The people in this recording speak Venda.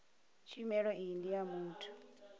tshumelo iyi ndi ya muthu